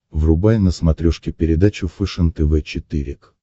врубай на смотрешке передачу фэшен тв четыре к